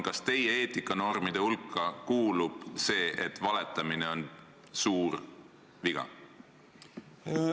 Kas teie eetikanormide hulka kuulub see arusaam, et valetamine on suur viga?